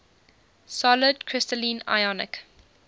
solid crystalline ionic